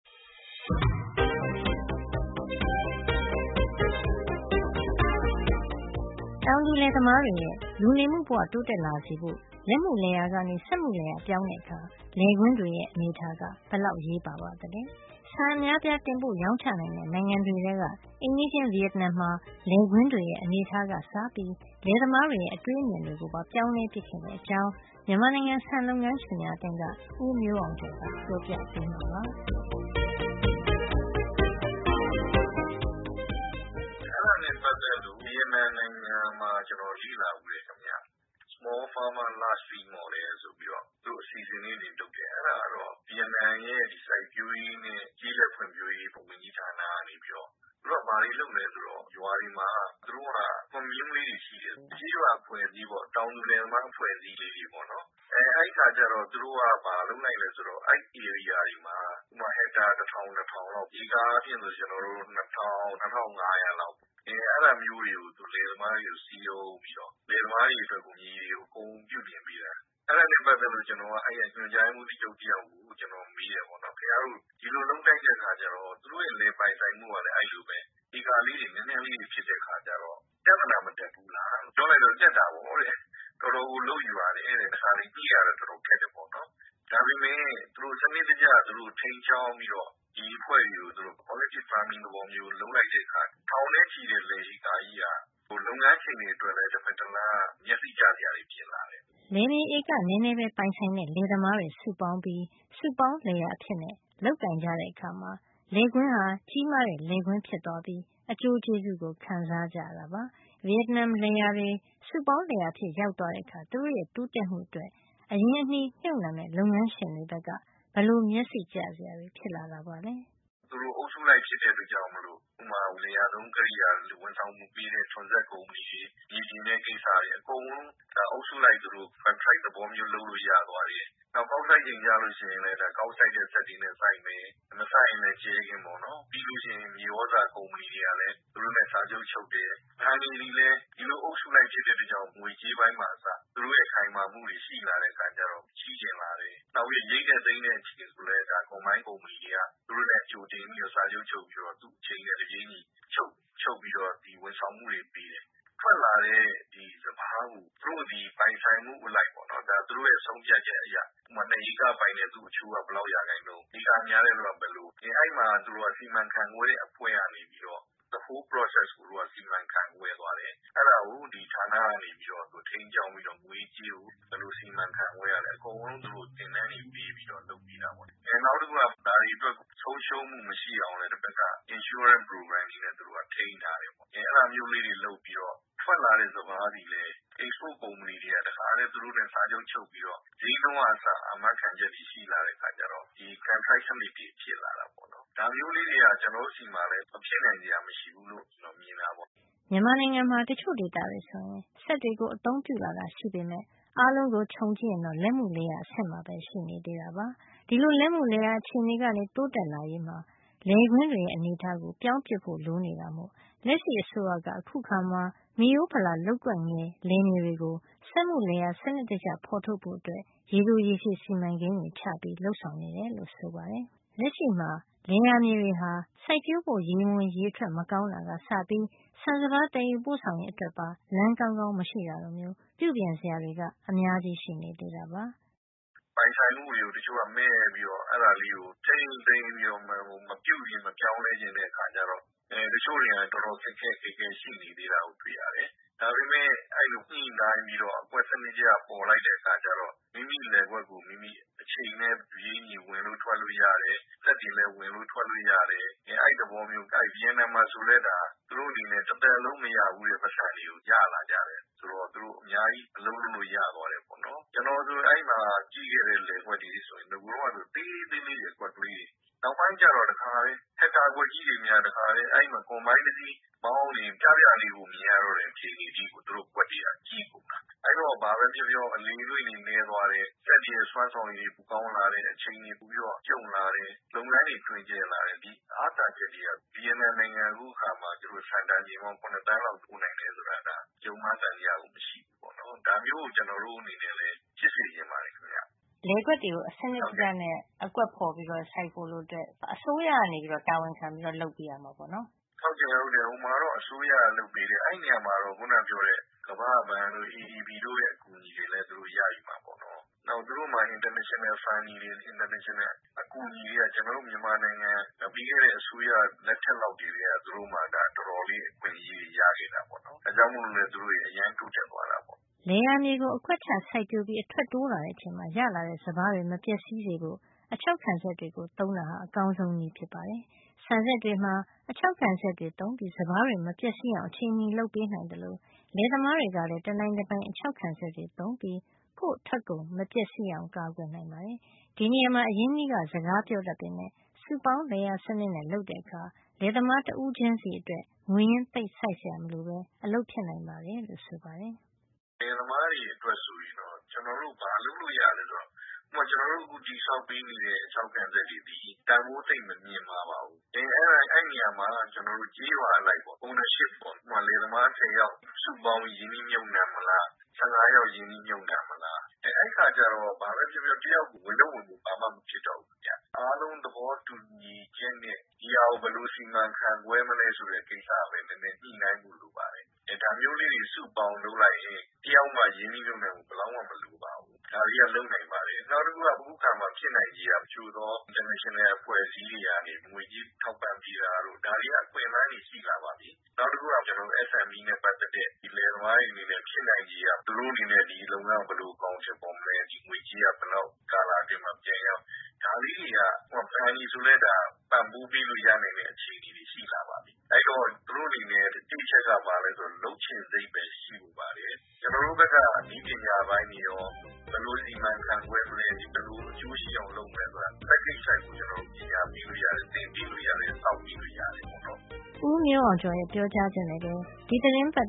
တောင်သူလယ်သမားတွေရဲ့ လူနေမှုဘဝ တိုးတက်လာစေဖို့ လက်မှုလယ်ယာကနေ စက်မှုလယ်ယာပြောင်းတဲ့အခါ လယ်ကွင်းတွေရဲ့ အနေအထားက ဘယ်လောက် အရေးပါ ပါသလဲ။ ဆန်အများအပြား တင်ပို့ရောင်းချနိုင်တဲ့ နိုင်ငံတွေထဲက အိမ်နီးချင်း ဗီယက်နမ်မှာ လယ်ကွင်းတွေရဲ့ အနေထားကအစ ပြောင်းလဲပစ်ခဲ့တဲ့အကြောင်း မြန်မာနိုင်ငံ ဆန်လုပ်ငန်းရှင်များအသင်းက ဦးမျိုးအောင်ကျော်က ပြောပြပေးမှာပါ။ “အဲဒါနဲ့ ပတ်သက်ပြီးတော့ ဗီယက်နမ်နိုင်ငံမှာ ကျွန်တော် လေ့လာဖူးတယ် ခင်ဗျ။ Small farmers large field model ဆိုပြီးတော့ သူတို့ အစီစဉ်လေးတွေ လုပ်တယ်။ အဲဒါကတော့ ဗီယက်နမ်ရဲ့ စိုက်ပျိုးရေးနဲ့ ကျေးလက် ဖွံ့ဖြိုးရေး ဝန်ကြီးဌာနကနေပြီးတော့ သူတို့က ဘာလုပ်သလဲ ဆိုတော့- ရွာတွေမှာ သူတို့က commune လေးတွေရှိတယ်။ ကျေးရွာအဖွဲ့အစည်းလေးပေါ့။ တောင်သူလယ်သမား အဖွဲ့အစည်းလေးတွေပေါ့နော်။ အဲဒီဧရိယာတွေမှာ ဥပမာ ဟက်တာ တထောင် ၂ ထောင်လောက်ပေါ့။ ဧကအားဖြင့်ဆိုရင် ၂ ထောင်၊ ၂၅၀၀ လောက်။ အဲဒါမျိုး လယ်သမားတွေကို စည်းရုံးပြီးတော့ လယ်သမားတွေအတွက် မြေတွေကို အကုန်ပြုပြင်ပေးတယ်။ အဲဒါနဲ့ပတ်သက်လို့ ကျွန်တော်က - အဲဒီက ညွှန်ကြားရေးမှူးတယောက်ကို မေးတယ် ပေါ့နော်။ ခင်ဗျားတို့ ဒီလိုလုပ်လိုက်တဲ့ အခါကျတော့ သူတို့ရဲ့ လယ်ပိုင်ဆိုင်မှု ကလည်း အဲဒီလိုပဲ ဧကလေးတွေ နဲနဲလေးပဲ ဖြစ်တဲ့အခါကျတော့ ပြဿနာမတက်ဘူးလား။ ပြောလိုက်တော့ တက်တာပေါ့တဲ့။ တော်တော်ကို လုပ်ယူရတယ်တဲ့။ တခါတလေ ညှိရတာ တော်တော်ခက်တယ်ပေါ့နော်။ ဒါပေမယ့် ဒီလိုစံနစ်တကျ သူတို့ ထိန်းကျောင်း ပြီးတော့ ဒီအဖွဲ့တွေကို သူတို့ collected farming လုပ်လိုက်တဲ့အခါကျတော့ ထောင်နဲ့ ချီတဲ့ လယ်ဧကကြီးက လုပ်ငန်းရှင်တွေအတွက် မျက်စိကျစရာ ဖြစ်လာတယ်။” လယ်မြေဧက နည်းနည်းပိုင်ဆိုင်တဲ့ လယ်သမားတွေ စုပေါင်းပြီး စုပေါင်းလယ်ယာအဖြစ် လုပ်ကိုင်ကြတဲ့အခါ ကြီးမားတဲ့လယ်ကွင်းအဖြစ် ပြောင်းသွားပြီး အကျိူးကျေးဇူး ခံစားကြရ တာပါ။ ဗီယက်နမ်လယ်ယာတွေ စုပေါင်းလယ်ယာ အဖြစ်ရောက်သွားတဲ့အခါ သူတို့ရဲ့ တိုးတက်မှုအတွက် အရင်းအနှီးမြှပ်နှံမယ့် လုပ်ငန်းရှင်တွေဘက်က ဘယ်လိုမျက်စိကျ စရာတွေ ဖြစ်လာတာပါလဲ။ “သူတို့က အုပ်စုလိုက်ဖြစ်တဲ့အတွက်ကြောင့် ဥပမာ ဝန်ဆောင် မှု ပေးတဲ့ လယ်ယာသုံး ကရိယာလို၊ ဝန်ဆောင်မှုပေးတဲ့ ထွန်စက်ကုမ္ပဏီတွေ၊ မြေပြင် တဲ့ ကိစ္စတွေအကုန်လုံး အုပ်စုလိုက်သူတို့ ကန်ထရိုက်သဘောမျိုး လုပ်လို့ ရသွားတယ်။ နောက် ကောက်စိုက်ချိန် ကျလို့ရှိရင်လည်း ကောက်စိုက်တဲ့စက်တွေနဲ့ စိုက်မယ်။ မစိုက်ရင်လည်း ကြဲခင်းပေါ့နော်။ - ပြီးရင် မြေသြဇာကုမ္ပဏီတွေ ကလည်း သူတို့နဲ့ စာချုပ် ချုပ်တယ်။ ဘဏ်တွေကလည်း ဒီလိုအုပ်စုလိုက် ဖြစ်တဲ့အခါကျတော့ ငွေကြေး ပိုင်းမှာ အစ သူတို့ရဲ့ ခိုင်မာမှုတွေရှိလာတဲ့ အခါကျတော့ ငွေချေးချင်လာတယ်။ နောက်ပြီး ရိတ်တဲ့သိမ်းတဲ့ အချိန်ဆိုလည်း ကုမ္ပဏီကြီးတွေက သူတို့နဲ့ စာချုပ်ချုပ် ပြီးတော့ အချိန်နဲ့တပြေးညီချုပ်- ချုပ်ပြီးတော့ ဝန်ဆောင်မှုတွေ ပေးတယ်။ ထွက်လာတဲ့ စပါးကို သူတို့ရဲ့ ပိုင်ဆိုင်မှုအရ၊ သူတို့ရဲ့ ဆုံးဖြတ်ချက်အရ- ဥပမာ တဧက ပိုင်တဲ့သူက သူတို့အချိုးက ဘယ်လောက်ရာခိုင်နှုန်း၊ ဧကများတဲ့သူတွေက ဘယ်လိုပေါ့။ အဲဒီမှာ စီမံခန့်ခွဲတဲ့အဖွဲ့ကနေပြီးတော့ လုပ်ငန်း အစအဆုံးကို သူတို့က စီမံခန့်ခွဲတယ်။ အဲဒါကို ဒီဌာနကနေပြီးတော့ ထိန်းကျောင်းပြီးတော့ ငွေရေးကြေးရေးကို ဘယ်လို စီမံခန့်ခွဲရ သလဲ အကုန် သင်တန်းတွေ ပေးပြီး လုပ်ပေးတာပေါ့လေ။” “နောက်တခုက ဒါတွေအတွက်ကို ဆုံးရှုံးမှု မရှိအောင်လည်း သူတို့ဘက်က insurance program အာမခံပေးတဲ့ အစီအစဉ်တွေနဲ့ သူတို့က ထိန်းထားတယ်။ အဲဒါမျိုး ကလေးတွေ လုပ်ပြီးတော့ ထွက်လာတဲ့ စပါးသည်လည်း export ကုမ္ပဏီတွေက သူတို့နဲ့ တခါတည်း စာချုပ် ချုပ်ပြီးတော့ ဈေးနှုန်းကအစ အာမခံချက်တွေ ရှိလာတဲ့ အခါကျတော့ - ကန်ထရိုက်စံနစ်တွေ ဖြစ်လာတာပေါ့နော်။ ဒါမျိုးလေးတွေက ကျွန်တော်တို့ ဆီမှာလည်း မဖြစ်နိုင်စရာ မရှိဘူးလို့ ကျွန်တော်မြင်တာပေါ့။” မြန်မာနိုင်ငံမှာ တချို့ဒေသတွေဆိုရင် စက်တွေကို အသုံးပြုလာတာရှိပေမယ့် အားလုံးကို ခြုံကြည့်ရင်တော့ လက်မှုလယ်ယာအဆင့်မှာပဲ ရှိနေသေးတာပါ။ ဒီလိုလက်မှုလယ်ယာ အခြေနေကနေ တိုးတက်လာရေးမှာ လယ်ကွင်းတွေရဲ့ အနေထားကို ပြောင်းပစ်ဖို့ လိုနေ တာမို့ လက်ရှိအစိုးရက အခုအခါ မိရိုးဖလာ လုပ်ကွက်ငယ် လယ်မြေတွေကို စက်မှု လယ်ယာ စံနစ်တကျဖေါ်ထုတ်ဖို့ ရေတိုရေရှည် စီမံကိန်းတွေချ ပြီး လုပ်ဆောင်နေတယ်လို့ ဆိုပါတယ်။ လက်ရှိလယ်ယာမြေတွေဟာ စိုက်ပျိုးဖို့အတွက် ရေဝင်ရေထွက် မကောင်းတာကစပြီး ဆန်စပါး သယ်ယူပို့ဆောင်ရေး အတွက်ပါ လမ်းကောင်းကောင်း မရှိတာလိုမျိုး ပြုပြင် စရာတွေက အများကြီး ရှိနေသေးတာပါ။ “ပိုင်ဆိုင်မှုတွေကို တချို့က မက်ပြီးတော့ အဲဒါလေးကို ထိန်းသိမ်းပြီးတော့ မပြုပြင် မပြောင်းလဲချင်တဲ့ အခါကျတော့၊ တချို့တလေကလည်း တော်တော် ခက်ခက်ခဲခဲ ရှိနေသေးတာကို တွေ့ရတယ်။ ဒါပေမယ့် အဲဒီလို ညှိနှိုင်းပြီးတော့၊ အကွက်စံနစ် တကျ ဖေါ်လိုက်တဲ့ အခါကျတော့ မိမိလယ်ကွက်ကို မိမိ အချိန်နဲ့ တပြေးညီ ဝင်လို့ထွက်လို့ ရတယ်။ စက်တွေလည်း ဝင်လို့ ထွက်လို့ ရတယ်။ အဲဒီသဘောမျိုးပါ။” “ဗီယက်နမ်မှာဆိုလည်း အဲဒါ သူတို့တွေ အနေနဲ့ တသက်လုံး မရဘူူးတဲ့ပိုက်ဆံတွေကို ရလာကြတယ်။ ဆိုတော့ သူတို့အများကြီး အလုပ်လုပ်လို့ ရသွားတယ်ပေါ့လေ။ ကျွန်တော်ဆို အဲဒီမှာ ကြည့်ခဲ့တဲ့ လယ်ကွက်တွေဆိုရင် ဟိုတုန်းကဆို သေးသေးလေး တွေ အကွက်ကလေးတွေ။ နောက်ပိုင်းကျတော့ တကယ့် ဟက်တာကွက်ကြီးတွေများ အဲဒီမှာ ယဉ်တစီးမောင်းနေရင် ပြပြလေးပဲ မြင်ရတော့တဲ့ အခြေနေ အထိကို သူတို့ အကွက်တွေက ကြီးကုန်တာ။ အဲဒီတော့ ဘာပဲပြောပြော အလေအလွင့် တွေ နည်းသွားတယ်။ စွမ်းဆောင်ရည်တွေ ပိုကောင်းလာတဲ့ အခြေအနေကို ကြုံလာတယ်။ လုပ်ငန်းတွေ တွင်ကျယ်လာတယ်။ ဒီအားသာချက်တွေက ဗီယက်နမ်နိုင်ငံက အခု အခါမှာ သူတို့က ဆန်တန်ချိန် ပေါင်း ၇ သန်းလောက် တင်ပို့လာနိုင်တယ်ဆိုတာ ယုံမှား သံသယ ရှိစရာကို မလိုဘူး။ ဒါမျိုးကို ကျွန်တော်တို့တွေ ဖြစ်စေချင်ပါတယ်ခင်ဗျ။” လယ်ကွက်တွေကို စံနစ်တကျနဲ့ အကွက်ဖေါ်ပြီးတော့ စိုက်ပျိုးဖို့အတွက် အစိုးရက တာဝန်ခံပြီးတော့ လုပ်ပေးရမှာ ပေါ့နော်။ “ဟုတ်တယ်ခင်ဗျ။ အစိုးရက လုပ်ပေးတယ်။ အဲဒီနေရာမှာတော့ ကမ္ဘာ့ဘဏ်တို့ ADB တို့ရဲ့ အကူအညီတွေလည်း သူတို့ရယူတာပေါ့နော်။ နောက် သူတို့မှာ နိုင်ငံတကာ ငွေကြေးထောက်ပံ့မှုတွေ အကူအညီတွေက ကျွန်တော်တို့ မြန်မာနိုင်ငံ ပြီးခဲ့တဲ့ အစိုးရ လက်ထက်လောက်ကတည်းက သူတို့မှာ ဒီလိုအခွင့်ရေးတွေ တော်တော်ရ နေတာပေါ့နော်။ ဒါကြောင့်မို့လည်း သူတို့တွေ အရမ်းတိုးတက်သွားတာပေါ့။” လယ်ယာမြေကို အကွက်ချစိုက်ပျိုးပြီး အထွက်တိုးလာချိန်မှာ ရလာတဲ့စပါးတွေ မပျက်စီးေ စဖို့ အခြောက်ခံစက်တွေ သုံးတာဟာ အကောင်းဆုံးနည်း ဖြစ်ပါတယ်။ ဆန်စက်တွေမှာ အခြောက်ခံစက်တွေသုံးပြီး စပါးတွေမပျက်စီးအောင် အချိန်မှီလုပ်ပေးနိုင်သလို လယ် သမားတွေကလည်း တနိုင်တပိုင် အခြောက်ခံစက်တွေသုံးပြီး ကိုယ့်ထွက်ကုန် မပျက်စီး အောင် ကာကွယ်နိုင်တာပါ။ ဒီနေရာမှာ အရင်းအနှီးက စကားပြောတတ်ပေမယ့် စုပေါင်းလယ်ယာစံန စ်နဲ့ လုပ်တဲ့အခါ လယ်သမား တဦးချင်းစီအတွက် ငွေရင်းသိပ်စိုက်စရာ မလိုဘဲ အလုပ်ဖြစ်နိုင်တယ်လို့ဆိုပါတယ်။ “လယ်သမားတွေ အတွက် ဆိုရင်တော့ ကျွန်တော်တို့ ဘာလုပ်ပေးနိုင်သလဲ ဆိုတော့၊ ဥပမာ ကျွန်တော်တို့ အခုတည်ဆောက်ပေးနေတဲ့ အခြောက်ခံစက်တွေသည် တန်ဖိုးသိပ်မမြင့်မားပါဘူး။ အဲဒီနေရာမှာ ကျေးရွာအလိုက်ပေါ့နော်။ owenership ပေါ့ ဥပမာ-လယ်သမား ဆယ်ယောက် စုပေါင်းပြီး ရင်းနှီးမြှုပ်နှံမလား။ ဆယ့်ငါးယောက် ရင်းနှီးမြှုပ်နှံမလား။ အဲဒီအခါကျတော့ ဘာပဲပြောပြော တယောက်ကို ဝန်ထုပ်ဝန်ပိုး ဘာမှမဖြစ်တော့ဘူး။ အားလုံးသဘောတူညီချက်နဲ့ ဒီဟာကို ဘယ်လို စီမံခန့်ခွဲမလဲ ဆိုတာပဲ ညှိနှိုင်းဖို့ လိုပါတယ်။ ဒါမျိုးလေးတွေ စုပေါင်းပြီးလုပ်လိုက်ရင် တယောက်မှ ရင်းနှီးမြှုပ်နှံမှု ဘယ်လောက်မှ မလိုပါဘူး။ ဒါတွေက လုပ်နိုင်ပါတယ်။” “နောက်တခုက အခုအခါမှာ ဖြစ်နိုင်ခြေက တချို့သော နိုင်ငံတကာအဖွဲ့အစည်းတွေကနေ ငွေကြေး ထောက်ပံ့ပေးတာတို့ ဒါတွေက အခွင့်အလန်းတွေ ရှိလာပါပြီ။ နောက်တခုက ကျွန်တော်တို့- SME နဲ့ ပတ်သက်တဲ့ လယ်သမားတွေအနေနဲ့ ဖြစ်နိုင်ခြေက သူတို့အနေနဲ့ ဒီလုပ်ငန်းကို ဘယ်လို အကောင်ထည် ဖေါ်မလဲ ဒီငွေကြေးက ဘယ်လောက် ကာလအတွင်းမှာ ပြန်ရမလဲ။ ဒါလေးတွေက - ဘဏ်တွေဆိုလဲ ဒါက ပံ့ပိုးပေးလို့ရတဲ့ အခြေနေတွေ ရှိလာပါပြီ။ အဲဒီတော့ သူတို့အနေနဲ့ တစ်အချက်က လုပ်ချင်စိတ်ပဲ ရှိဖို့ လိုပါတယ်။ ကျွန်တော်တို့ဘက်က နည်းပညာပိုင်းတွေရော၊ ဘယ်လိုစီမံခန့်ခွဲမလဲ၊ ဘယ်လိုအကျိုးရှိအောင်လုပ်မလဲ ဆိုတာ package လိုက်ကို ကျွန်တော်တို့ပညာပေးလို့ရတယ်။ သင်ပေးလို့ရတယ်။ ဆောက်ပေးလို့ရတယ်။” ဦးမျိုးအောင်ကျော်ရဲ့ ပြောကြားချက်နဲ့ပဲ ဒီသီတင်းပတ်